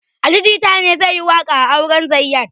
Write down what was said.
Ali jita ne zai yi waƙa a auren zayyad